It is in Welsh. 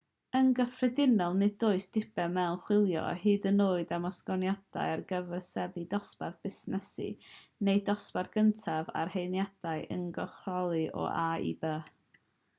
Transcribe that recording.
yn gyffredinol nid oes diben mewn chwilio hyd yn oed am ostyngiadau ar gyfer seddi dosbarth busnes neu ddosbarth cyntaf ar hediadau uniongyrchol o a i b